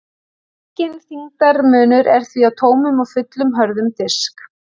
Enginn þyngdarmunur er því á tómum og fullum hörðum disk.